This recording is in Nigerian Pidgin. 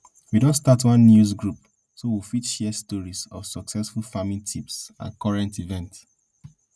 we don start one news group so we fit share stories of success farming tips and current events